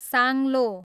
साङ्लो